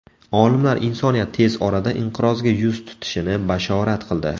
Olimlar insoniyat tez orada inqirozga yuz tutishini bashorat qildi.